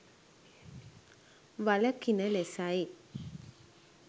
වළකින ලෙසයි.